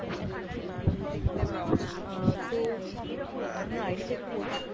আচ্ছা আচ্ছা আহ তো আপনার ID টা একটু বলুন?